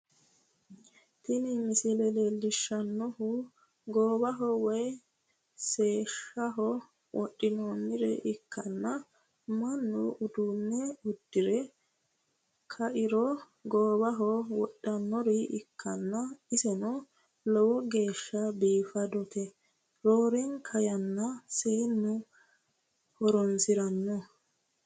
Tini misile leellishshannohu goowaho woy seesaho wodhinannire ikkanna mannu uduunne uddire kairo goowaho wodhinannire ikkanna, iseno lowo geeshsha biifadote roorenka yanna seennu horonsi'ranno.